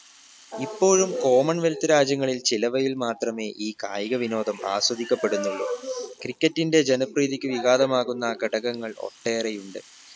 ഇപ്പോഴും common wealth രാജ്യങ്ങളിൽ ചിലവയിൽ മാത്രമേ ഈ കായിക വിനോദം ആസ്വദിക്കപ്പെടുന്നുള്ളു cricket ന്റെ ജനപ്രീതിക്ക് വിഖാതമാവുന്ന ഘടകങ്ങൾ ഒട്ടേറെയുണ്ട്